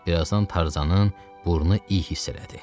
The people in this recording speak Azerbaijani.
Birazdan Tarzanın burnu iyi hiss elədi.